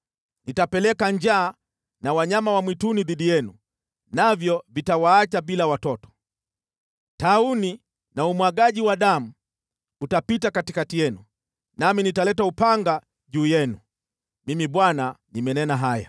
Nitapeleka njaa na wanyama wa mwituni dhidi yenu, navyo vitawaacha bila watoto. Tauni na umwagaji wa damu utapita katikati yenu, nami nitaleta upanga juu yenu. Mimi Bwana nimenena haya.”